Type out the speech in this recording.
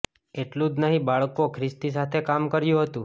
એટલું જ નહીં બાળકો ખ્રિસ્તી સાથે કામ કર્યું હતું